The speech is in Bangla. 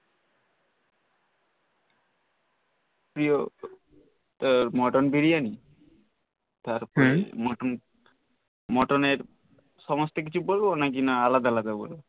প্রিয় মটন বিরিয়ানি তারপরে মটন মটনের সমস্ত কিছু বলব না কি আলাদা আলাদা বলবো